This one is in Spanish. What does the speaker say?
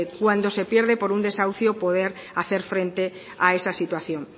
cuando se pierde por un desahucio poder hacer frente a esa situación